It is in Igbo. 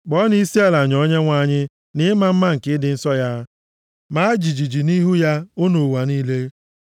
Kpọọnụ isiala nye Onyenwe anyị nʼịma mma nke ịdị nsọ ya; maa jijiji nʼihu ya, unu ụwa niile.